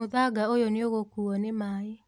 Mũthanga ũyũ nĩũgũkuo nĩ maĩ.